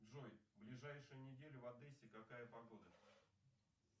джой в ближайшую неделю в одессе какая погода